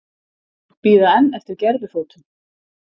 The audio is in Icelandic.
Bíða enn eftir gervifótum